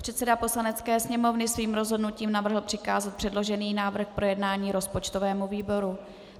Předseda Poslanecké sněmovny svým rozhodnutím navrhl přikázat předložený návrh k projednání rozpočtovému výboru.